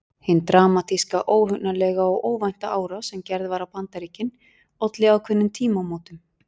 Hin dramatíska, óhugnanlega og óvænta árás sem gerð var á Bandaríkin olli ákveðnum tímamótum.